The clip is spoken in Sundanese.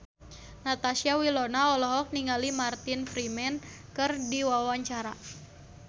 Natasha Wilona olohok ningali Martin Freeman keur diwawancara